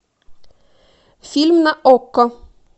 фильм на окко